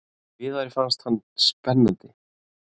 Viðari fannst hann spennandi.